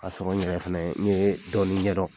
Ka sɔrɔ n yɛrɛ fɛnɛ n ye dɔɔnin ɲɛdɔn.